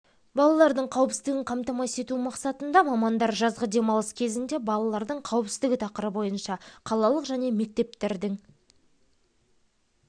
балалардың қауіпсіздігін қамтамасыз ету мақсатында мамандар жазғы демалық кезінде балалардың қауіпсіздігі тақырыбы бойынша қалалық және мектердің